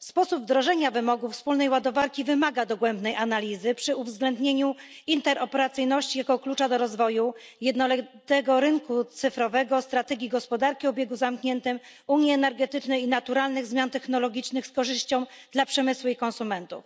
Sposób wdrożenia wymogów wspólnej ładowarki wymaga dogłębnej analizy przy uwzględnieniu interoperacyjności jako klucza do rozwoju jednolitego rynku cyfrowego, strategii gospodarki o obiegu zamkniętym, unii energetycznej i naturalnych zmian technologicznych z korzyścią dla przemysłu i konsumentów.